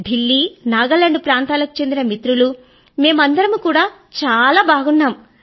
ఢీల్లీ నాగాలాండ్ ప్రాంతాలకు చెందిన మిత్రులు మేమందరమూ కూడా చాలా బాగున్నాము